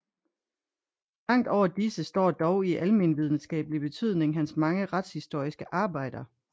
Langt over disse står dog i almenvidenskabelig betydning hans mange retshistoriske arbejder